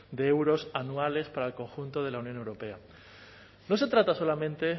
de euros anuales para el conjunto de la unión europea no se trata solamente